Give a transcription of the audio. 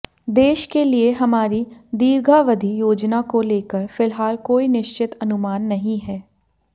देश के लिए हमारी दीर्घावधि योजना को लेकर फिलहाल कोई निश्चित अनुमान नहीं है